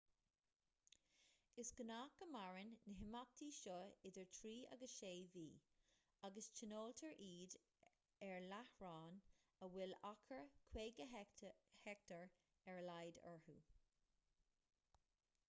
is gnách go maireann na himeachtaí seo idir trí agus sé mhí agus tionóltar iad ar láithreáin a bhfuil achar 50 heicteár ar a laghad iontu